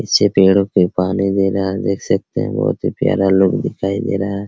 नीचे पेड़ो पे पानी दे रहा है आप देख सकते हैं बहुत ही प्यारा लोग दिखाई दे रहा है।